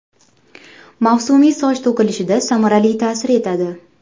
Mavsumiy soch to‘kilishida samarali ta’sir etadi.